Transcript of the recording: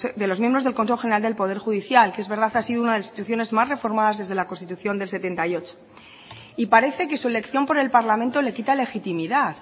de los miembros del consejo general del poder judicial que es verdad ha sido de las instituciones más reformadas desde la constitución del setenta y ocho y parece que su elección por el parlamento le quita legitimidad